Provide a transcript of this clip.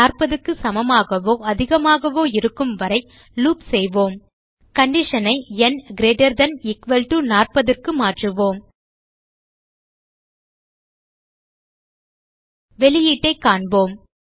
40 க்கு சமமாகவோ அதிகமாகவோ இருக்கும்வரை லூப் செய்வோம் கண்டிஷன் ஐ ந் gt 40 க்கு மாற்றுவோம் வெளியீட்டைக் காண்போம்